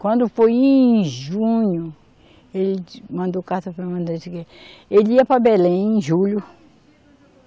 Quando foi em junho, ele mandou carta para. Ele ia para Belém em julho.